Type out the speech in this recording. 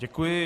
Děkuji.